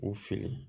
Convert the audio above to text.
U fili